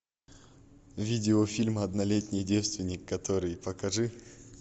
видеофильм однолетний девственник который покажи